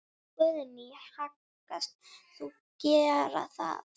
Guðný: Hyggst þú gera það?